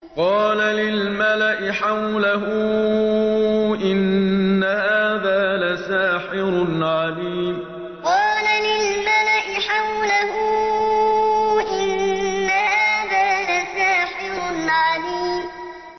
قَالَ لِلْمَلَإِ حَوْلَهُ إِنَّ هَٰذَا لَسَاحِرٌ عَلِيمٌ قَالَ لِلْمَلَإِ حَوْلَهُ إِنَّ هَٰذَا لَسَاحِرٌ عَلِيمٌ